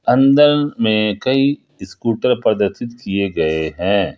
अंदर में कई स्कूटर प्रदर्शित किए गए हैं।